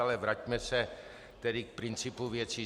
Ale vraťme se tedy k principu věcí.